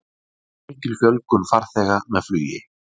Mikil fjölgun farþega með flugi